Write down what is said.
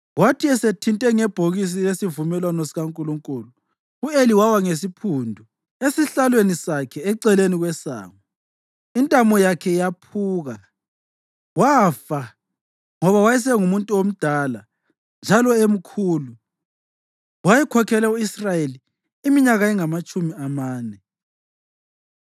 Kwathi esethinte ngebhokisi lesivumelwano sikaNkulunkulu, u-Eli wawa ngesiphundu esihlalweni sakhe eceleni kwesango. Intamo yakhe yephuka, wafa, ngoba wayesengumuntu omdala njalo emkhulu. Wayekhokhele u-Israyeli iminyaka engamatshumi amane.